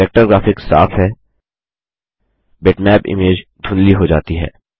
vector graphic साफ है bitmap image धुँधली हो जाती है